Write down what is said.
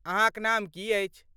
अहाँक नाम की अछि?